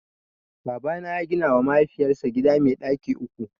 Babana ya gina wa mahaifiyar sa gida mai ɗaki uku